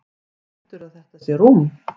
Heldurðu að þetta sé rúm?